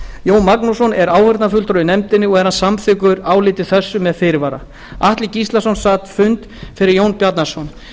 jón magnússon er áheyrnarfulltrúi í nefndinni og er hann samþykkur áliti þessu með fyrirvara atli gíslason sat fund fyrir jón bjarnason